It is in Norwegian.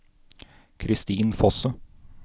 Christin Fosse